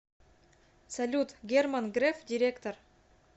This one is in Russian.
салют герман греф директор